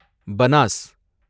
Banas